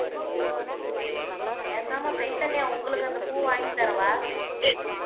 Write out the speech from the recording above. பேசாம சைதன்யா உங்களுக்கு அந்தப் பூ வாங்கித் தரவா